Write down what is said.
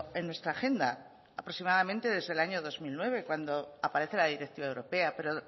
en nuestra agenda aproximadamente desde el año dos mil nueve cuando aparece la directiva europea pero